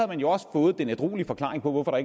man jo også fået den ædruelige forklaring på hvorfor der